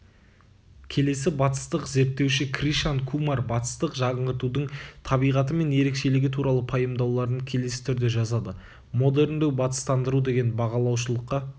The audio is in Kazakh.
келесі батыстық зерттеуші кришан кумар батыстық жаңғыртудың табиғаты мен ерекшелігі туралы пайымдауларын келесі түрде жазады модерндеу батыстандыру деген бағалаушылыққа